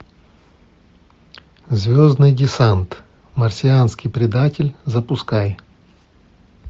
звездный десант марсианский предатель запускай